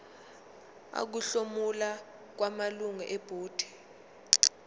ukuhlomula kwamalungu ebhodi